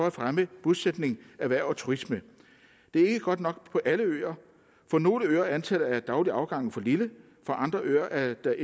at fremme bosætning erhverv og turisme det er ikke godt nok på alle øer på nogle øer er antallet af daglige afgange for lille på andre øer er der